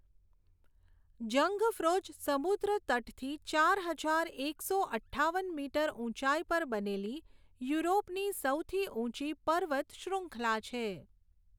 Jungfraujoch સમુદ્ર તટથી ચાર હજાર એકસો અઠ્ઠાવન મીટર ઊંચાઈ પર બનેલી યુરોપની સૌથી ઊંચી પર્વત શ્રૃંખલા છે.